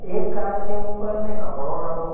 एक कार के ऊपर में कपड़ों डरो --